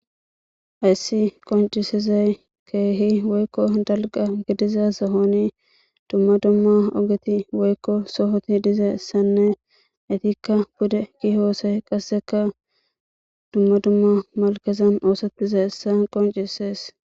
Hays qoncisizay keeh woyko dalga gidiza sohoni dumma dumma ogeti woyko sohoti dizaysane etika pude yiyosay qaseka dumma dumma malkezan osetizaysa qoncises.